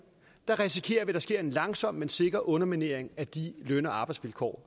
risikerer vi at der sker en langsom men sikker underminering af de løn og arbejdsvilkår